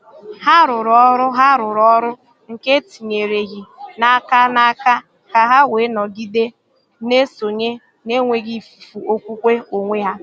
Hà rùrù ọrụ Hà rùrù ọrụ nke etinyereghị n’aka n’aka, ka hà wee nọgide na-esonye na-enweghị ifufu okwukwe onwe ha.